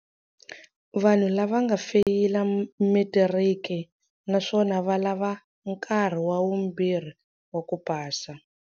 Vanhu lava va nga feyila matiriki naswona va lava nkarhi wa vumbirhi wa ku pasa.